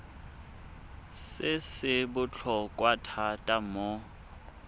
se se botlhokwa thata mo